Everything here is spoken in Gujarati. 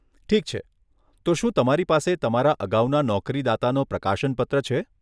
ઠીક છે, તો શું તમારી પાસે તમારા અગાઉના નોકરીદાતાનો પ્રકાશન પત્ર છે?